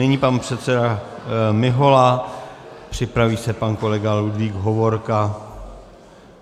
Nyní pan předseda Mihola, připraví se pan kolega Ludvík Hovorka.